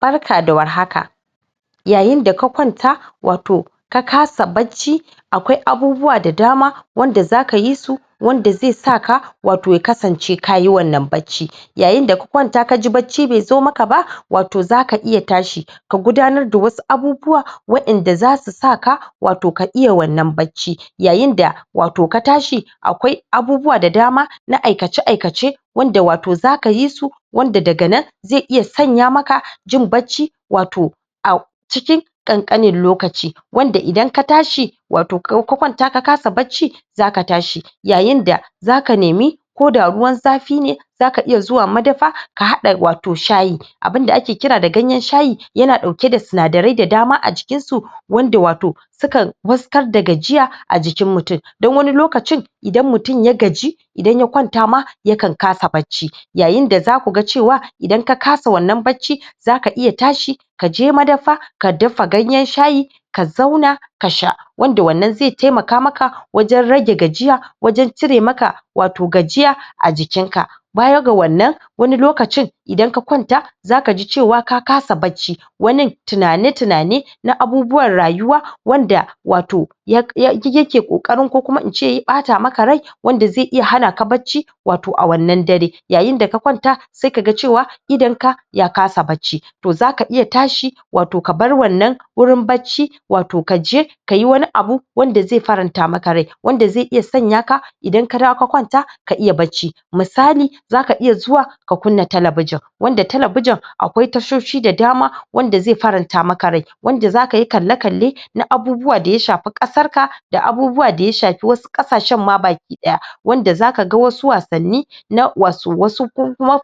Barka da warhaka yayin daka kwanta wato ka kasa bacci akwai abubuwa da dama wanda zaka yi su wanda zai sa ka wato ya kasance kayi wannan bacci yayin da ka kwanta kaji bacci bai zo maka ba wato zaka iya tashi ka gudanar da wasu abubuwa wa'anda zasu saka wato ka iya wannan bacci yayin da wato ka tashi akwai abubuwa da dama na aikace-aikace wanda wato zaka yisu wanda daga nan zai iya sanya maka jin bacci wato a cikin ƘanƘanin lokaci wanda idan ka tashi wato ka kwanta ka kasa bacci zaka tashi yayin da zaka nemi koda ruwan zafi ne zaka iya zuwa madafa ka haɗa wato shayi abin da ake kira da ganyen shayi yana ɗauke da sinadarai da dama a jikinsu wanda wato sukan wartsakar da gajiya a jikin mutum dan wani lokacin idan mutum ya gaji idan ya kwanta ma ya kan kasa bacci yayin da zakuga cewa idan ka kasa wannan bacci zaka iya tashi kaje madafa ka dafa ganyen shayi ka zauna kasha wanda wanna zai taimaka maka wajen rage gajiaya wajen cire maka wato gajiya a jikinka baya ga wannan wani lokacin idan ka kwanta zakaji cewa ka kasa bacci wani tinane-tinane na abubuwan rayuwa wanda wato yake kokarin kukuma ince ya ɓata maka rai wanda zai iya hanak bacci wato a wannan dare yayin da ka kwanta zai kaga cewa idonka ya kasa bacci to zaka iya tashi wato ka bar wannan gurin bacci wato kaje kayi wani abu wanda zai faranta maka rai wanda zai iya sanyaka idan ka dawo ka kwanta ka iya bacci misali zaka iya zuwa ka kunna talabejin wanda talabejin akwai tashoshi da dama wanda zai faranta maka rai wanda zakayi kalle-kalle na abubuwa da ya shafi Ƙasar ka daabubuwa daya shafi wasu Ƙasashen ma baki daya wanda zakaga wasu wassani na wasu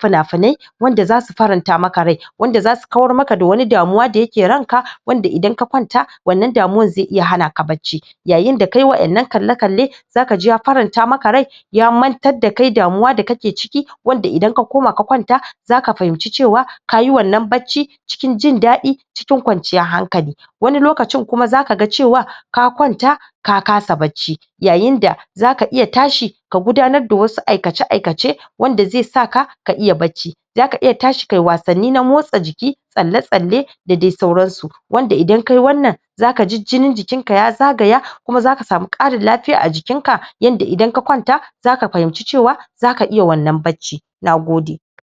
fina-finai wanda zasu faranta maka rai wanda zasu kawar maka da wasu damuwa da suke ranka wanda idan ka kwanta wannan damuwan zai iya hanaka bacci yayin da kayi wannan kalle-kallen zakaji ya faramnta maka rai ya mantar dakai damuwa dakake ciki wanda idan ka koma ka kwanta zaka fahince cewa kayi wannan bacci cikin jin daɗi cikin kwanciyan hankali wani lokacin kuma zakaga cewa ka kwanta ka kasa bacci yayin da zaka iya tashi ka gudanar da wasu aikace-aikace wanda zai saka ka iya bacci zaka iya tashi kayi wassani na motsa jiki tsalle-tsalle dadi sauransu wanda idan kayi wannan zakaji jinin jikinka ya zagaya kuma zaka sama Ƙarin lafiya a jikinka yanda idan ka kwanta zaka fahimce cewa zaka iya wannan bacci Nagode.